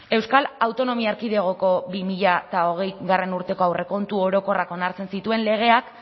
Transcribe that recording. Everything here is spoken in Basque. euskal autonomia erkidegoko bi mila hogeigarrena urteko aurrekontu orokorrak onartzen zituen legeak